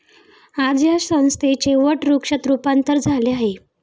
आज या संस्थेचे वटवृक्षात रूपांतर झाले आहे.